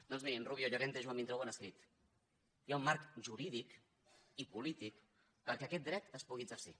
doncs bé en rubio llorente i joan vintró ho han escrit hi ha un marc jurídic i polític perquè aquest dret es pugui exercir